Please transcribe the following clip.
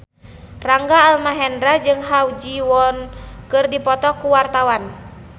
Rangga Almahendra jeung Ha Ji Won keur dipoto ku wartawan